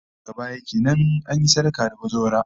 Daga baya kenan, an yi sadaka da bazawara